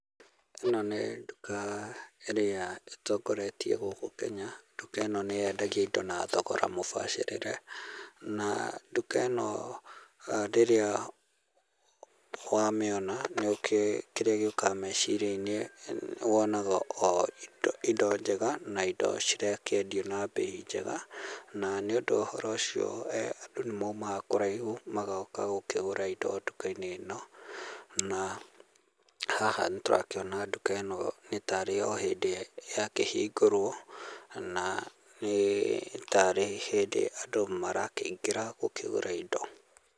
Ĩno nĩ nduka ĩrĩa ĩtongoretie gũkũ Kenya, nduka ĩno nĩyendagia indo na thogora mũbacĩrĩre. Na nduka ĩno rĩrĩa wamĩona, nĩukĩũĩ kĩrĩa gĩũkaga meciria-inĩ, wonaga o indo njega na indo cirakĩendio na mbei njega, na nĩ ũndũ wa ũhoro ũcio andũ nĩ maumaga kũraihũ magoka gũkĩgũra indo nduka-inĩ ĩno. Na haha nĩtũrakĩona nduka ĩno nĩtarĩ o hĩndĩ yakĩhingũrwo, na nĩtarĩ hĩndĩ andũ marakĩingĩra gũkĩgũra indo.